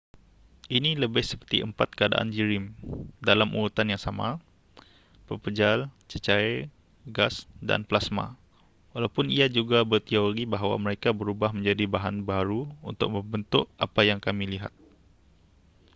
ini lebih seperti empat keadaan jirim dalam urutan yang sama: pepejal cecair gas dan plasma walaupun ia juga berteori bahawa mereka berubah menjadi bahan baharu untuk membentuk apa yang kami lihat